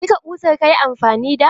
Duka ƙusar ka yi amfani da?